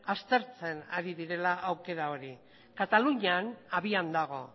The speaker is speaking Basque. aztertzen ari direla aukera hori katalunian abian dago